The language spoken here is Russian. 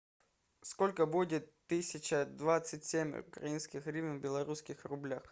сколько будет тысяча двадцать семь украинских гривен в белорусских рублях